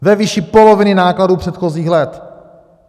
Ve výši poloviny nákladů předchozích let.